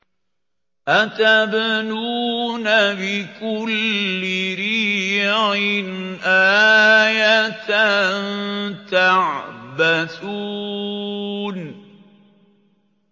أَتَبْنُونَ بِكُلِّ رِيعٍ آيَةً تَعْبَثُونَ